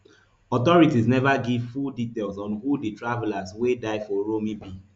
authorities neva give full details on who di travellers wey die for uromi be